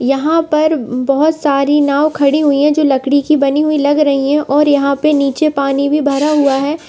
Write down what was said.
यहाँ पर बहुत सारी नाव खड़ी हुई हैं जो लकड़ी की बनी हुई लग रही हैं और यहाँ पे नीचे पानी भी भरा हुआ है।